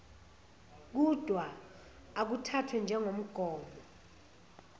kudwa akuthathwe njengomgomo